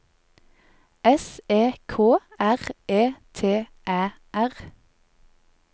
S E K R E T Æ R